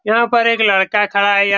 यहाँ पे एक लड़का खड़ा है यह --